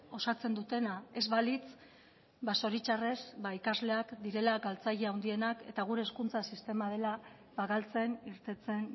osatzen dutena ez balitz zoritxarrez ba ikasleak direla galtzaile handienak eta gure hezkuntza sistema dela galtzen irteten